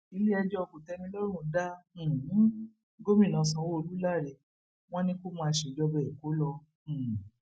iléẹjọ kòtẹmílọrùn dá um gómìnà sanwóolu láre wọn ni kó máa ṣèjọba èkó lọ um